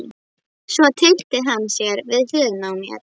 Svo tyllti hann sér við hliðina á mér.